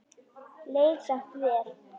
Leið samt vel.